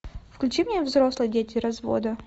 включи мне взрослые дети развода